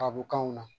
Kabkanw na